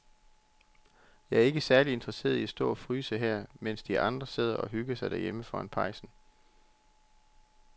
Jeg er ikke særlig interesseret i at stå og fryse her, mens de andre sidder og hygger sig derhjemme foran pejsen.